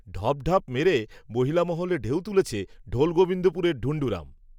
ঢপঢাপ মেরে, মহিলা মহলে ঢেউ তুলেছে, ঢোলগোবিন্দপুরের ঢুন্ঢুরাম